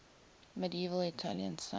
medieval italian saints